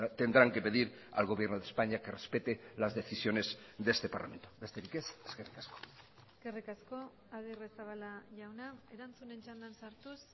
tendrán que pedir al gobierno de españa que respete las decisiones de este parlamento besterik ez eskerrik asko eskerrik asko agirrezabala jauna erantzunen txandan sartuz